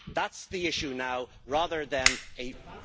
That is the issue now, rather than a